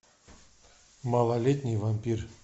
малолетний вампир